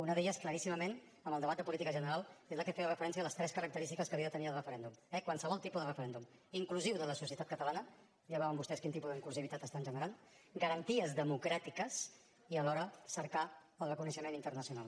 una d’elles claríssimament en el debat de política general és la que feia referència a les tres característiques que havia de tenir el referèndum eh qualsevol tipus de referèndum inclusiu de la societat catalana ja veuen vostès quin tipus d’inclusió estan generant garanties democràtiques i alhora cercar el reconeixement internacional